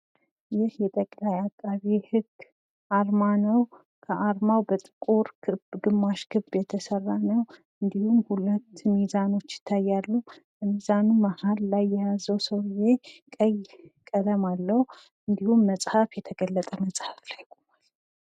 ይህ የጠቅላይ አቃቢ ህግ አርማ ነው። ከአርማው በጥቁር ክብ እና ግማሽ ክብ የተሰራ ነው። እንዲሁም ሁለት ሚዛኖች ይታያሉ። ከሚዛኑ መሀል ላይ የያዘው ሰውየ ቀይ ቀለም አለው እንዲሁም መፅሐፍ የተገለጠ መፅሐፍ ላይ ቆሟል።